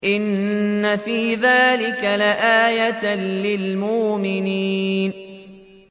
إِنَّ فِي ذَٰلِكَ لَآيَةً لِّلْمُؤْمِنِينَ